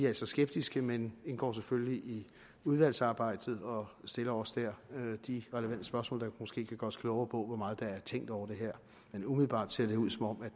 altså skeptiske men indgår selvfølgelig i udvalgsarbejdet og stiller også der de relevante spørgsmål der måske kan gøre os klogere på hvor meget der er tænkt over det her men umiddelbart ser det ud som om